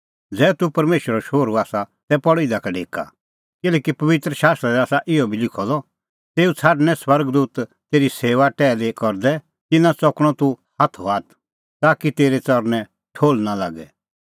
ज़ै तूह परमेशरो शोहरू आसा तै पल़ इधा का ढेका किल्हैकि पबित्र शास्त्रा दी आसा इहअ बी लिखअ द तेऊ छ़ाडणैं स्वर्ग दूत तेरी सेऊआ टैहली करदै तिन्नां च़कणअ तूह हाथो हाथ ताकि तेरै च़रणैं ठोहल़ नां लागे